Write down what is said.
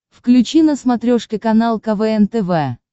включи на смотрешке канал квн тв